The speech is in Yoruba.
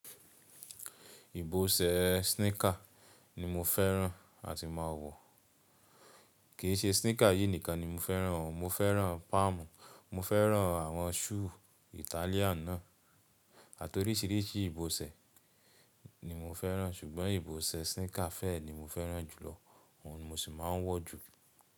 Ìbọsẹ̀ sneaker ni mo fẹ́ràn àti máa wọ̀. Kì í ṣe sneaker yìí nìkan ni mo fẹ́ràn o, mo fẹ́ràn Páàmù, mo fẹ́ràn àwọn ṣúù Italian náà àti oríṣiríṣi ìbọ̀sẹ̀ ni mo fẹ́ràn, ṣùgbọ́n ìbọ̀sẹ̀ sneaker fẹ ni mo fẹ́ràn jùlọ, òun ni mo sì máa ń wọ̀ jù.